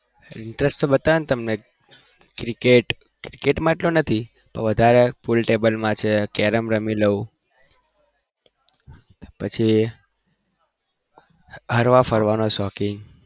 interest તો બધા માં છે cricket માં એટલો નથી પણ વધારે carrom રમી લઉં પછી હરવા ફરવાનો શોખીન